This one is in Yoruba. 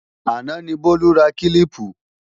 Àná ni Bólú ra kílíìpù